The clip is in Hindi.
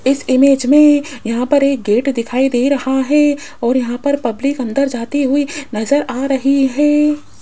इस इमेज में यहां पर एक गेट दिखाई दे रहा है और यहां पर पब्लिक अंदर जाती हुई नजर आ रही है।